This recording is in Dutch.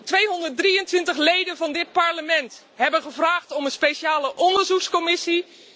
223 leden van dit Parlement hebben gevraagd om een speciale onderzoekscommissie.